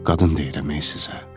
Qadın deyirəm ey sizə.